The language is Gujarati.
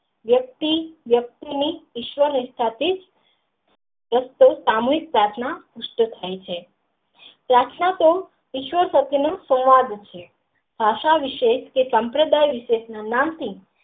વ્યક્તિ વ્યક્તિ ઈશ્વર વિસ્થા પિત્ રીતે આમ જ પ્રાર્થના નિશ્ચિત થાય છે પ્રાર્થના તો ઈશ્વર પ્રતેય નું સંવાદ છે ભાષા વિષે કે સાંપ્ર ડાઈ વિષે જાણતી.